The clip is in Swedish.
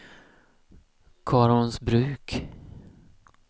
Karlholmsbruk